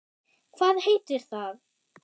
Hvað heitir það?